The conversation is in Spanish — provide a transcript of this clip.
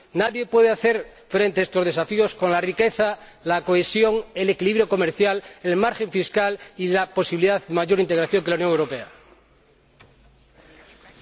nadie puede hacer frente a estos desafíos con la riqueza, la cohesión, el equilibrio comercial, el margen fiscal y la posibilidad de mayor integración con que cuenta la Unión Europea.